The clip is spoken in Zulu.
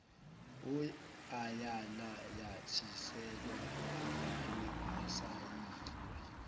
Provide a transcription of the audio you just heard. ayananyathiselwa avalwe asayinwe